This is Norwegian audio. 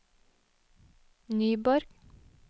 Nyborg